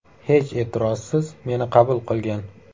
Hech e’tirozsiz meni qabul qilgan.